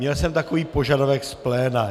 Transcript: Měl jsem takový požadavek z pléna.